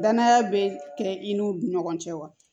Danaya bɛ kɛ i n'u ni ɲɔgɔn cɛ wa